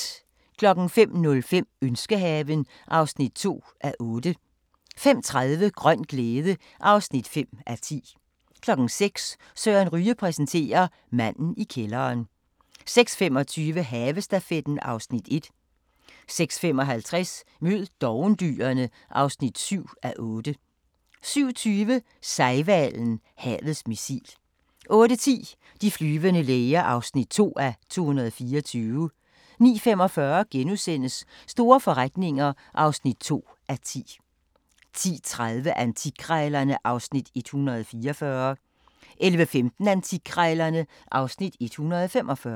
05:05: Ønskehaven (2:8) 05:30: Grøn glæde (5:10) 06:00: Søren Ryge præsenterer: Manden i kælderen 06:25: Havestafetten (Afs. 1) 06:55: Mød dovendyrene (7:8) 07:20: Sejhvalen – havets missil 08:10: De flyvende læger (2:224) 09:45: Store forretninger (2:10)* 10:30: Antikkrejlerne (Afs. 144) 11:15: Antikkrejlerne (Afs. 145)